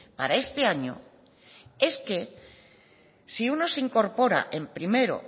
para este año es que si uno se incorpora en primero